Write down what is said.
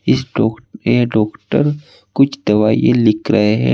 इस डॉ ये डॉक्टर कुछ दवाई लिख रहे हैं।